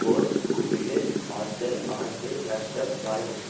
force கூப்பிடு hostel ஆண்டு நஷ்டம் பாலகிருஷ்ணன்